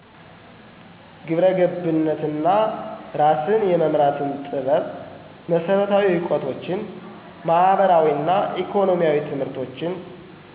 ግብረ ገብነት እና እራስን የመምራትን ጥበብ መሰረታዊ እውቀቶችን ማህበራዊ እና ኢኮኖሚያዊ ትምህርቶች።